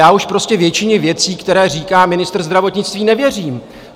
Já už prostě většině věcí, které říká ministr zdravotnictví, nevěřím.